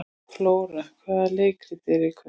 Flóra, hvaða leikir eru í kvöld?